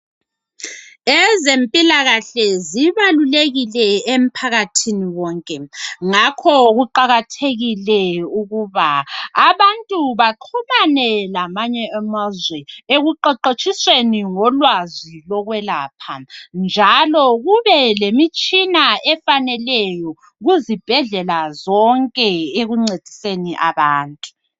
Ezempilakahle zibalulekile emphakathini wonke ngakho kuqakathekile ukuba abantu baxhumane lamanye amazwe ekuqawatshisweni ngolwazi lokwelapha njalo kube lemitshina efaneleyo kuzibhedlela zonke ekuncediseni abantu.